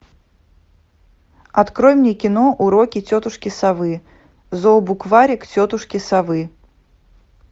открой мне кино уроки тетушки совы зообукварик тетушки совы